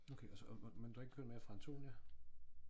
Okay og så men du har ikke hørt mere fra Antonia?